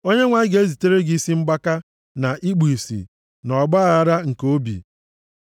Onyenwe anyị ga-ezitere gị isi mgbaka, na ikpu ìsì, na ọgbaaghara nke obi.